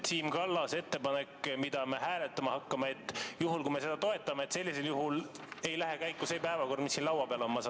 Siim Kallase ettepanek, mida me hääletama hakkame – kas sellisel juhul, kui me seda toetame, ei lähe käiku see päevakord, mis siin laua peal on?